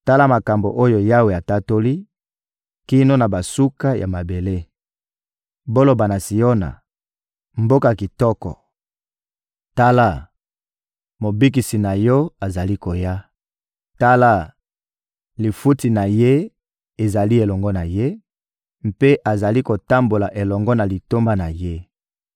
Tala makambo oyo Yawe atatoli kino na basuka ya mabele: «Boloba na Siona, mboka kitoko: ‹Tala, Mobikisi na yo azali koya! Tala, lifuti na ye ezali elongo na ye, mpe azali kotambola elongo na litomba na ye.›»